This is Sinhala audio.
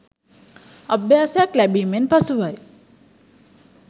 අභ්‍යාසයක් ලැබීමෙන් පසුවයි.